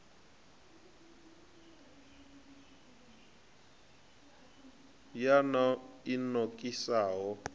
ya nan o i nokisaho